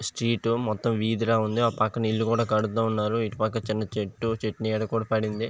మొత్తం విధి ల ఉన్నది అటు పక్కన ఇల్లు కూడా కడుతున్నారు ఇటు పక్కన చిన్న చెట్టు చెట్టునిడ కూడ పదింధి.